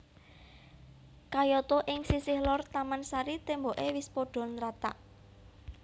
Kayata ing sisih lor taman sari témboké wis padha nrathak